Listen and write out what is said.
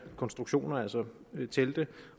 konstruktioner altså telte